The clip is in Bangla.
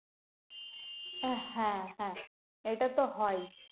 হ্যাঁ হ্যাঁ হ্যাঁ এটা তো হয়ই